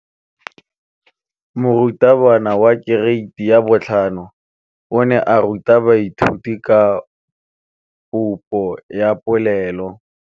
Moratabana wa kereiti ya 5 o ne a ruta baithuti ka popô ya polelô.